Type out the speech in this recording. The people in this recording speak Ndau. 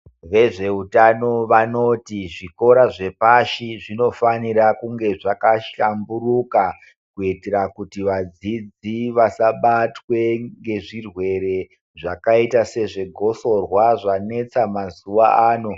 Vezveutano vanoti zvikora zvepashi zvinofanira kunge zvakashamburuka, kuitira kuti vadzidzi vasabatwe ngezvirwere zvakaita sezvegotsorwa zvanetsa mazuwa ano.